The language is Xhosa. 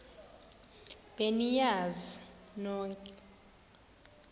be niyazi nonk